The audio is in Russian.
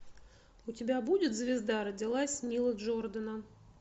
у тебя будет звезда родилась нила джордана